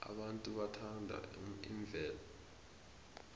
abantu bathanda imvelo